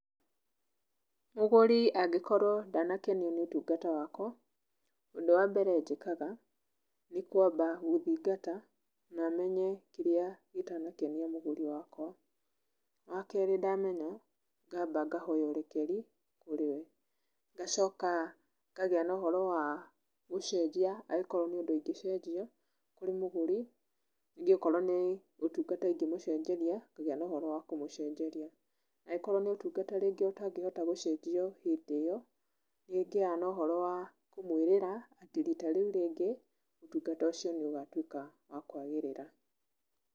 Mũgũri angĩkorwo ndanakenio nĩ ũtungata wakwa, ũndũ wa mbere njĩkaga, nĩ kwamba gũthingata na menye kĩrĩa gĩtanakenia mũgũri wakwa. Wa kerĩ ndamenya, ngamba ngahoya ũrekeri kũrĩ we. Ngacoka ngagĩa na ũhoro wa gũcenjia angĩkorwo nĩ ũndũ ingĩcenjia kũrĩ mũgũri, ningĩ okorwo nĩ ũtungata ingĩmũcenjeria, ngagĩa na ũhoro wa kũmũcenjeria. Angĩkorwo nĩ ũtungata rĩngĩ ũtangĩhota gũcenjio hĩndĩ ĩyo, nĩ ngĩaga na ũhoro wa kũmũĩrĩra atĩ rita rĩu rĩngĩ, ũtungata ũcio nĩ ũgatuĩka wa kwagĩrĩra.